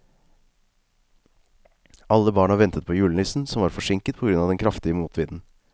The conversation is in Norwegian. Alle barna ventet på julenissen, som var forsinket på grunn av den kraftige motvinden.